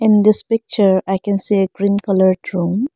in this picture i can see a green coloured room.